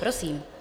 Prosím.